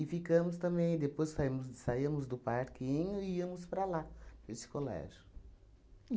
ficamos também, depois saímos saíamos do parquinho e íamos para lá, para esse colégio.